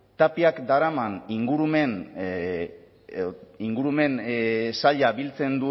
tapiak daraman ingurumen saila biltzen